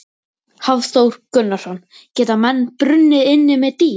Hafþór Gunnarsson: Geta menn brunnið inni með dýr?